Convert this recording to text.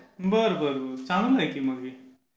बर बर. चांगला आहे की मग हे